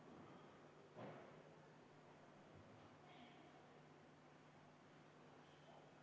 Kohalolijaks pani ennast kirja 54 rahvasaadikut.